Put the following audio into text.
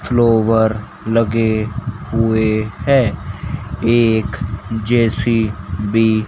flower लगे हुए हैं एक जे_सी_बी --